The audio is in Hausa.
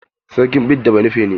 Sarkin bida banufe ne.